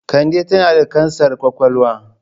Kande tana da kansar kwakwalwa.